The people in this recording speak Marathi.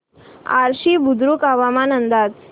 आश्वी बुद्रुक हवामान अंदाज